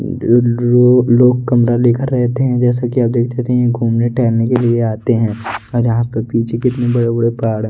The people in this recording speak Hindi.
लोग कमरा लेकर रहते हैं जैसा कि आप देख सकते हैं ये घूमने टहलने के लिए आते हैं और जहां पे पीछे कितने बड़े बड़े पहाड़ हैं।